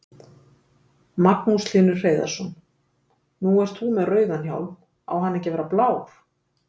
Magnús Hlynur Hreiðarsson: Nú ert þú með rauðan hjálm, á hann ekki að vera blár?